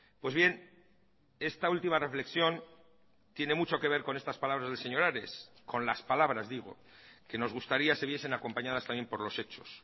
pues bien esta última reflexión tiene mucho que ver con estas palabras del señor ares con las palabras digo que nos gustaría se viesen acompañadas también por los hechos